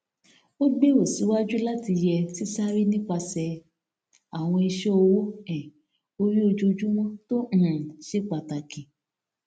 ó gbèrò síwájú láti yẹ sísáré nípasẹ àwọn iṣẹ owó um orí ojoojumọ tó um ṣe pàtàkì